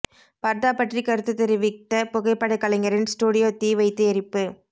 பர்தா பற்றி கருத்து தெரிவித்த புகைப்படக் கலைஞரின் ஸ்டுடியோ தீ வைத்து எரிப்பு